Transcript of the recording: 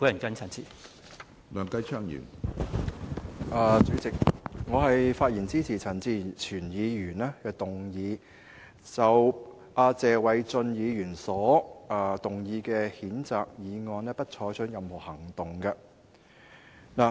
主席，我發言支持陳志全議員提出"不得就謝偉俊議員動議的譴責議案再採取任何行動"的議案。